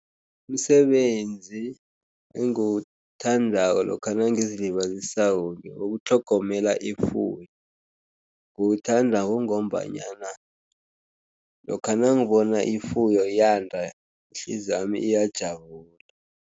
Umsebenzi engiwuthandako lokha nangizilibazisako ngewokutlhogomela ifuyo. Ngiwuthanda kungombanyana lokha nangibona ifuyo yanda ihliziywami iyajabula.